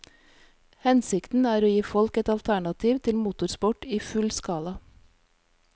Hensikten er å gi folk et alternativ til motorsport i full skala.